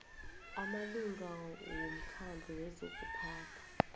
amalunga womkhandlu wezokuphatha